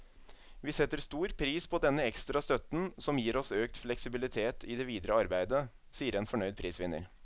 Vi setter stor pris på denne ekstra støtten, som gir oss økt fleksibilitet i det videre arbeidet, sier en fornøyd prisvinner.